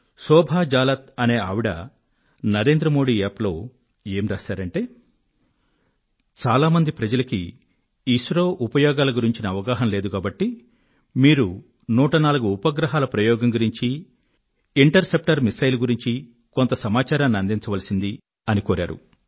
శోభా జాలాన్ అనే ఆవిడ NarendraModiApp లో చాలా మంది ప్రజలకు ఐఎస్ఆర్ఒ ఉపయోగాలను గురించిన అవగాహన లేదు కాబట్టి మీరు 104 ఉపగ్రహాల ప్రయోగం గురించీ ఇంటర్ సెప్టర్ మిసైల్ గురించీ కొంత సమాచారాన్ని అందించవలసింది అని కోరారు